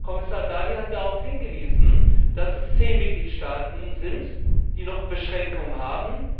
Kommissar Dalli hat darauf hingewiesen, dass es zehn Mitgliedstaaten sind, die noch Beschränkungen haben.